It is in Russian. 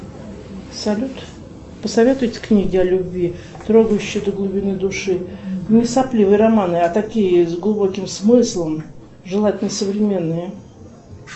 салют посоветуйте книги о любви трогающие до глубины души не сопливые романы а такие с глубоким смыслом желательно современные